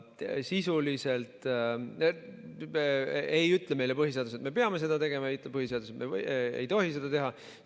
Sisuliselt ei ütle meile põhiseadus, et me peame seda tegema, ja ei ütle, et me ei tohi seda teha.